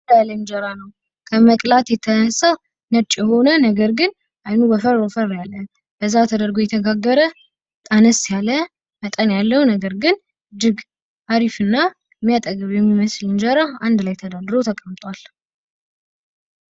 ቀይ እንደራ ነው ። ከመቅላቱ የተነሳ ነጭ የሆነ ነገር ግን አይኑ ወፈር ወፈር ያለ ፣ በዛ ተደርጎ የተጋገረ ፣ አነስ ያለ መጠን ያለው ነገር ግን አሪፍና የሚያጠግብ የሚመስል እንደራ አንድ ላይ ተደርድሮ ተቀምጧል።